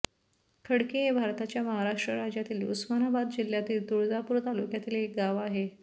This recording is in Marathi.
खडकी हे भारताच्या महाराष्ट्र राज्यातील उस्मानाबाद जिल्ह्यातील तुळजापूर तालुक्यातील एक गाव आहे